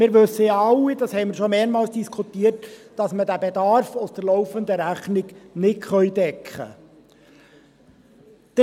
Wir wissen ja alle, das haben wir schon mehrfach diskutiert, dass wir diesen Bedarf aus der laufenden Rechnung nicht decken können.